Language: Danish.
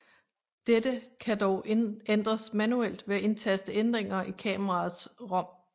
Dette kan dog ændres manuelt ved at indtaste ændringer i kameraets ROM